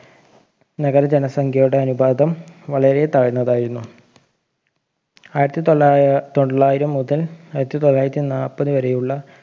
നഗര ജനസംഖ്യയുടെ അനുപാതം വളരെ താഴ്ന്നതായിരുന്നു ആയിരത്തി തൊള്ളാ തൊള്ളായിരം മുതൽ ആയിരത്തി തൊള്ളായിരത്തി നാപ്പത് വരെയുള്ള